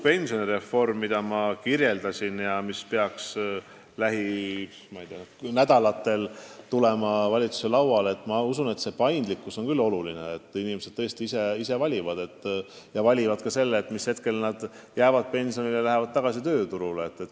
Pensionireformi kavas, mida ma kirjeldasin ja mis peaks lähinädalatel valitsuse lauale tulema, on usutavasti paindlikkus oluline eesmärk, et inimesed tõesti saaksid ise valida, millal nad jäävad pensionile ja millal lõpetavad töötamise.